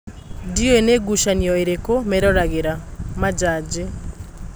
Ndĩũĩ nĩ ngucanio ĩrĩku meroragĩra (manjanji)."